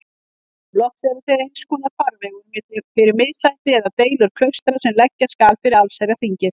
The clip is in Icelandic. Loks eru þeir einskonar farvegur fyrir missætti eða deilur klaustra sem leggja skal fyrir allsherjarþingið.